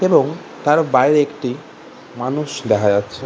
এবং তার বাইরে একটি মানুষ দেখা যাচ্ছে।